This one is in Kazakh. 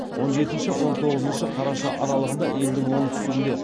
он жетінші он тоғызыншы қараша аралығында елдің оңтүстігінде